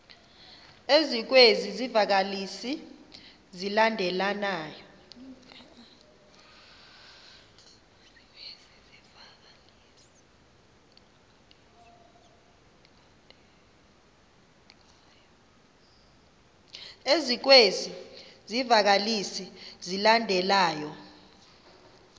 ezikwezi zivakalisi zilandelayo